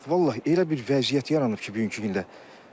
Vallah elə bir vəziyyət yaranıb ki, bugünkü gündə.